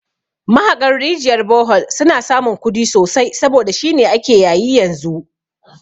Mahaƙan rijiyar bohol suna samun kudi sosai saboda shine ake yayi yanzu